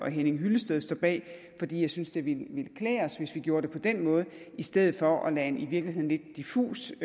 henning hyllested står bag fordi jeg synes det ville klæde os hvis vi gjorde det på den måde i stedet for at lade en i virkeligheden lidt diffus